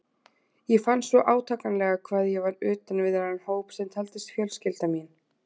Ég fann svo átakanlega hvað ég var utan við þennan hóp sem taldist fjölskylda mín.